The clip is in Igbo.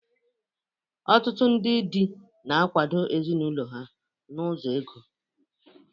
Ọtụtụ ndị di na-akwado ezinụlọ ha n'ụzọ ego.